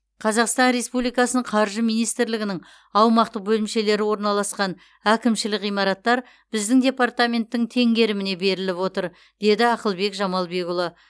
қазақстан республикасының қаржы министрлігінің аумақтық бөлімшелері орналасқан әкімшілік ғимараттар біздің департаменттің теңгеріміне беріліп отыр деді ақылбек жамалбекұлы